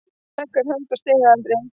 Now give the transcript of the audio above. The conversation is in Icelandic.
Leggur hönd á stigahandriðið.